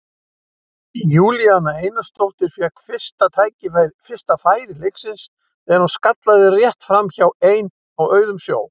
Júlíana Einarsdóttir fékk fyrsta færi leiksins þegar hún skallaði rétt framhjá ein á auðum sjó.